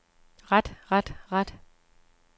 ret ret ret